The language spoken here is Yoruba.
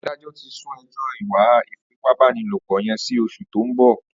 Àdájọ̀ ti sùn ẹjọ ìwà ifipábánilópọ̀ yèn si óṣú tó n bọ